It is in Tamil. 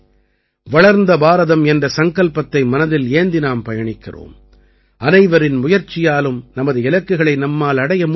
வளர்ந்த பாரதம் என்ற சங்கல்பத்தை மனதில் ஏந்தி நாம் பயணிக்கிறோம் அனைவரின் முயற்சியாலும் நமது இலக்குகளை நம்மால் அடைய முடியும்